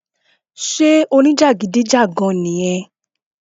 sé o ní jàgídíjàgan nì yẹn?